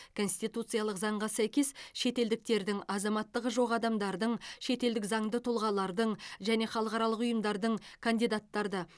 конституциялық заңға сәйкес шетелдіктердің азаматтығы жоқ адамдардың шетелдік заңды тұлғалардың және халықаралық ұйымдардың кандидаттарды